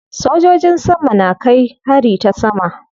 Sojojin sama na kai hari ta sama.